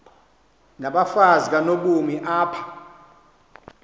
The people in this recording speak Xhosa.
nabafazi kanobomi apha